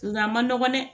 Nga a ma nɔgɔ dɛ